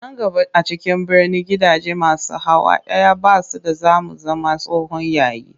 Nan gaba a cikin birni gidaje masu hawa ɗaya ba su da za mu zama tsohon yayi